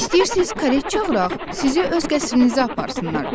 İstəyirsiz kareta çağıraq, sizi öz qəsrənizə aparsınlar?